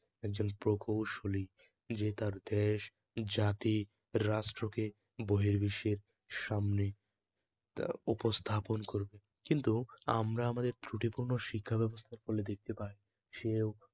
একজন প্রকৌশলী যে তার দেশ, জাতি, রাষ্ট্রকে বহির্বিশ্বের সামনে উপস্থাপন করবে কিন্তু আমাদের ত্রুটিপূর্ণ শিক্ষাব্যবস্থা পড়লে দেখতে পাই সেও